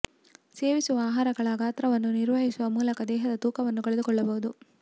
ಸೇವಿಸುವ ಆಹಾರಗಳ ಗಾತ್ರವನ್ನು ನಿರ್ವಹಿಸುವ ಮೂಲಕ ದೇಹದ ತೂಕವನ್ನು ಕಳೆದು ಕೊಳ್ಳಬಹುದು